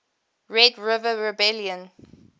red river rebellion